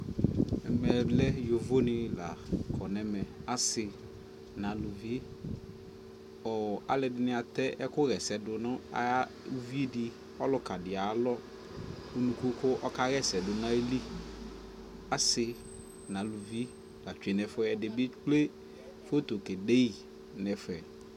ɛmɛ lɛ yɔvɔ ni la kɔnʋ ɛmɛ, asii nʋ alʋvi, alʋɛdini atɛ ɛkʋ yɛsɛ dʋ nʋ ʋvidi, ɔlʋka di ayialɔ ʋnʋkʋ kʋ ɔka yɛsɛ dʋnʋ ayili, asii nʋ alʋvi la twɛnʋ ɛƒʋɛ, ɛdi bi ɛkplɛ photo kɛ dɛyi nʋ ɛƒɛ